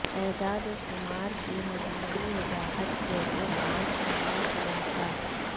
اعداد و شمار کے مجموعی وضاحت جیسے پانچ نمبر خلاصہ